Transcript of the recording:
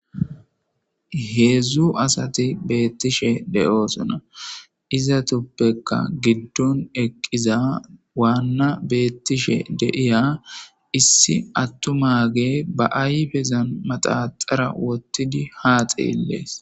Heedzdzu asati beettishe de7oosona izatuppekka giddon eqqiza waanna beettishe deiya issi attumage ba ayfezan maxaxara wottidi haaxeellees.